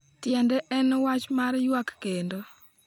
"Tiende en wach mar ywak kendo."